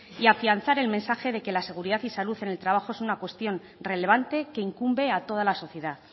y afianzar el mensaje de que la seguridad y salud en el trabajo es una cuestión relevante que incumbe a toda la sociedad